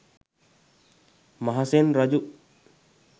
මහසෙන් රජු